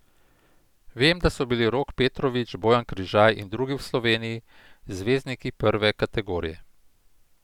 Vem, da so bili Rok Petrovič, Bojan Križaj in drugi v Sloveniji zvezdniki prve kategorije.